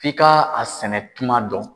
F'i ka a sɛnɛ tuma dɔn.